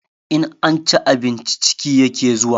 In an ci abinci ciki yake zuwa